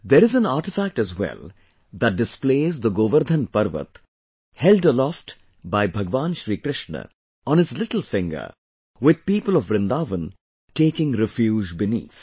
There is an artifact as well, that displays the Govardhan Parvat, held aloft by Bhagwan Shrikrishna on his little finger, with people of Vrindavan taking refuge beneath